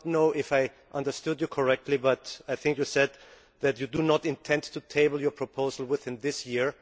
I do not know if I understood you correctly, but I think you said that you do not intend to table your proposal this year.